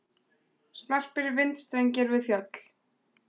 Snarpir vindstrengir við fjöll